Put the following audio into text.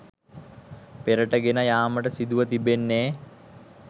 පෙරට ගෙන යාමට සිදුව තිබෙන්නේ